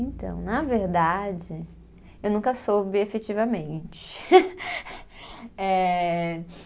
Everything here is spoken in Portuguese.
Então, na verdade, eu nunca soube efetivamente. Eh